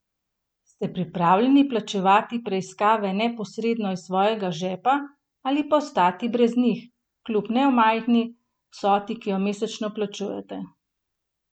Ste pripravljeni plačevati preiskave neposredno iz svojega žepa ali pa ostati brez njih, kljub nemajhni vsoti, ki jo mesečno plačujete?